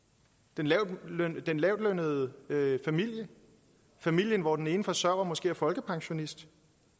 den lavtlønnede den lavtlønnede familie familien hvor den ene forsørger måske er folkepensionist